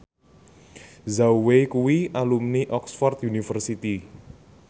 Zhao Wei kuwi alumni Oxford university